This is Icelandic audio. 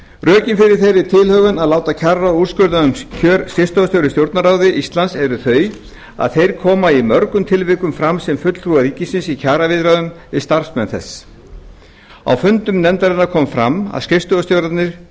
rökin fyrir þeirri tilhögun að láta kjararáð úrskurða um kjör skrifstofustjóra í stjórnarráði íslands eru þau að þeir koma í mörgum tilvikum fram sem fulltrúar ríkisins í kjaraviðræðum við starfsmenn þess á fundum nefndarinnar kom fram að skrifstofustjórar